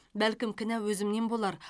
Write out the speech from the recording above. бәлкім кінә өзімнен болар